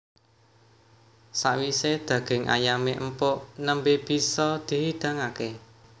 Sawisé daging ayamé empuk nembé bisa dihidangaké